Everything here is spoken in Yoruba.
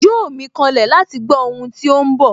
Yóò mí kanlẹ̀ láti gbó ohun tí óhún bọ̀